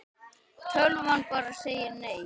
Tölvan bara segir nei.